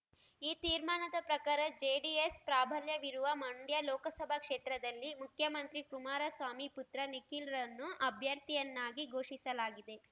ಈ ತೀರ್ಮಾನದ ಪ್ರಕಾರ ಜೆಡಿಎಸ್ ಪ್ರಾಬಲ್ಯವಿರುವ ಮಂಡ್ಯ ಲೋಕಸಭಾ ಕ್ಷೇತ್ರದಲ್ಲಿ ಮುಖ್ಯಮಂತ್ರಿ ಕುಮಾರಸ್ವಾಮಿ ಪುತ್ರ ನಿಖಿಲ್‌ರನ್ನು ಅಭ್ಯರ್ಥಿಯನ್ನಾಗಿ ಘೋಷಿಸಲಾಗಿದೆ